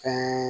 Kan